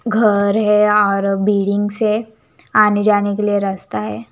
घर है और बिल्डिंग्स है आने जाने के लिए रस्ता है।